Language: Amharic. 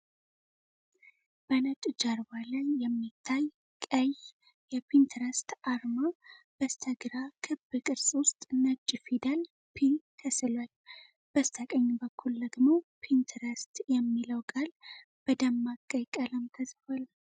በነጭ ጀርባ ላይ የሚታይ ቀይ የፒንትረስት አርማ። በስተግራ ክብ ቅርጽ ውስጥ ነጭ ፊደል ፒ ተስሏል። በስተቀኝ በኩል ደግሞ 'ፒንትረስት' የሚለው ቃል በደማቅ ቀይ ቀለም ተጽፏል።